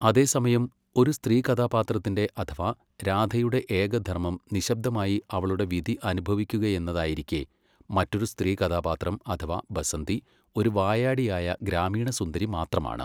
അതേസമയം, ഒരു സ്ത്രീകഥാപാത്രത്തിന്റെ അഥവാ രാധയുടെ ഏകധർമ്മം നിശബ്ദമായി അവളുടെ വിധി അനുഭവിക്കുകയെന്നതായിരിക്കെ, മറ്റൊരു സ്ത്രീകഥാപാത്രം അഥവാ ബസന്തി ഒരു വായാടിയായ ഗ്രാമീണ സുന്ദരി മാത്രമാണ്.